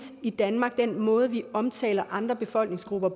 i danmark den måde vi omtaler andre befolkningsgrupper